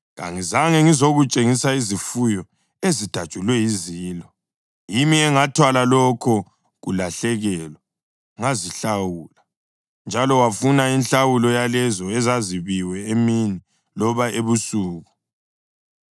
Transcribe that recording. Kangizange ngizokutshengisa izifuyo ezidatshulwe yizilo; yimi engathwala lokho kulahlekelwa ngazihlawula. Njalo wafuna inhlawulo yalezo ezazebiwe emini loba ebusuku.